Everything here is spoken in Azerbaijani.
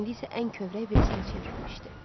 İndi isə ən kövrək birisinə çevrilmişdi.